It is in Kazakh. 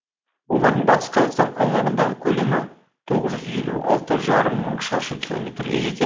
олардың батыс қазақстан аумағындағы көлемі тоғыз жүз елу алты жарым мың шаршы километрге жетті